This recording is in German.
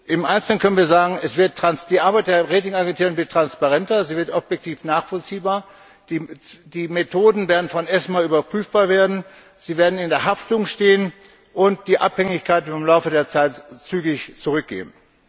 Im Einzelnen können wir sagen, die Arbeit der Ratingagenturen wird transparenter, sie wird objektiv nachvollziehbar, die Methoden werden erstmals überprüfbar werden, sie werden in der Haftung stehen und die Abhängigkeit wird im Laufe der Zeit zügig zurückgehen.